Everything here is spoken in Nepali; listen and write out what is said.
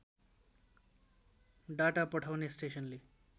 डाटा पठाउने स्टेसनले